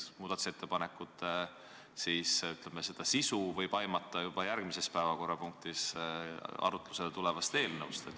Nende ettepanekute sisu võib aimata juba järgmises päevakorrapunktis arutlusele tulevast eelnõust.